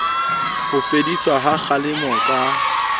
ho fediswa ha kgalemo ka